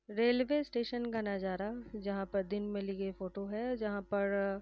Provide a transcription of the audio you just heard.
Railway station का नज़ारा जहाँ पर दिन में लीए फोटो है। जहाँ पर --